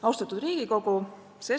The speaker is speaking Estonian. Austatud Riigikogu!